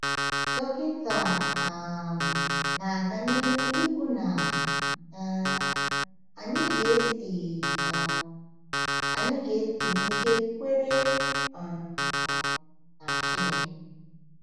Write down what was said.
Dọkịta um na-aga n’ihu ikwu na um anyị ga-esi um anyị ga-esi n’ike kwere um na Chineke.